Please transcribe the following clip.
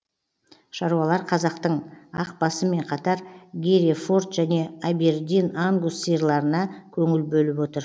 шаруалар қазақтың ақбасымен қатар герефорд және абердин ангус сиырларына көңіл бөліп отыр